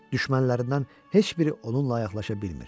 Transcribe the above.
Düşmənlərindən heç biri onunla yaxınlaşa bilmir.